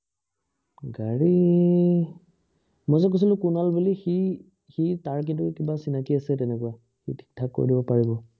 গাড়ী মই যে কৈছিলো কুনাল বুলি সি সি তাৰ কিন্তু কিবা চিনাকি আছে তেনেকুৱা সি ঠিক থাক কৰি দিব পাৰিব